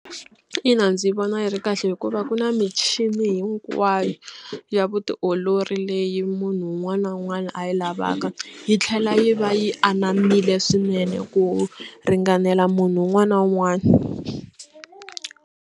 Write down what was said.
Ina ndzi vona yi ri kahle hikuva ku na michini hinkwayo ya vutiolori leyi munhu un'wana na un'wana a yi lavaka yi tlhela yi va yi anamile swinene ku ringanela munhu un'wana na un'wana.